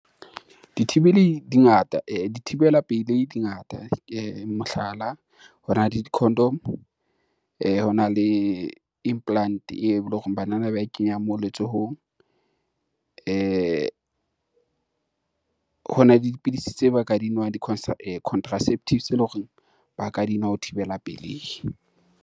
Dithibelei di ngata dithibela pelei di ngata. Mohlala, hona le di-condom hona le implant-e eo eleng hore banana ba e kenyang moo letsohong, hona le dipidisi tseo ba ka di nwang di-contraceptives tse eleng hore ba ka di nwa ho thibela pelehi.